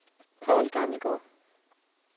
Poul Gammelgaard